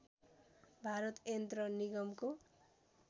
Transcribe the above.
भारत यन्त्र निगमको